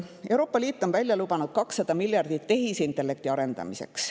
Euroopa Liit on välja lubanud 200 miljardit tehisintellekti arendamiseks.